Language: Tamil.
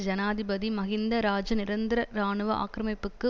ஜனாதிபதி மஹிந்த இராஜா நிரந்தர இராணுவ ஆக்கிரமிப்புக்கு